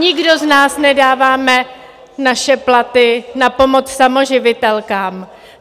Nikdo z nás nedáváme naše platy na pomoc samoživitelkám.